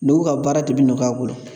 Dɔw ka baara de bɛ nɔgɔya u bolo.